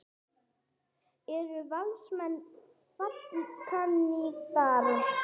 Eru Valsmenn fallkandídatar?